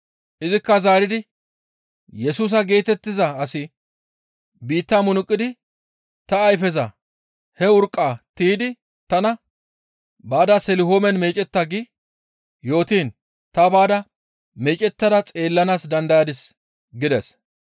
Izikka zaaridi, «Yesusa geetettiza asi biitta munuqidi ta ayfeza he urqqaa tiydi tana, ‹Baada Selihoomen meecetta› gi yootiin ta baada meecettada xeellanaas dandayadis» gides.